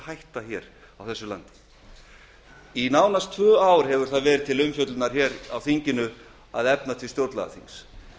hætta þeim leik á þessu landi í næstum tvö ár hefur það verið til umfjöllunar hér á þinginu að efna til stjórnlagaþings